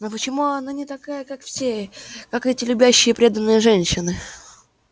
но почему она не такая как все как эти любящие преданные женщины